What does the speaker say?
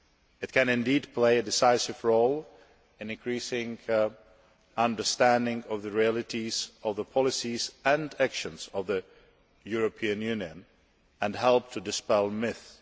It can indeed play a decisive role in increasing understanding of the realities of the policies and actions of the European Union, and can help to dispel myths.